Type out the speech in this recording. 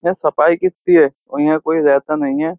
यहाँ सफाई कितती है और यहां कोई रहता नहीं है।